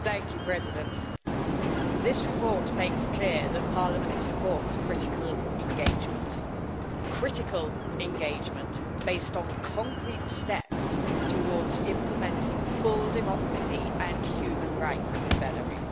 Madam President, this report makes clear that Parliament supports critical engagement, critical engagement based on concrete steps towards implementing full democracy and human rights in Belarus.